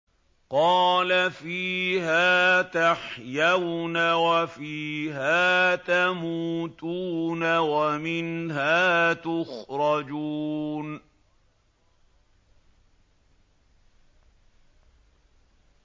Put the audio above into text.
قَالَ فِيهَا تَحْيَوْنَ وَفِيهَا تَمُوتُونَ وَمِنْهَا تُخْرَجُونَ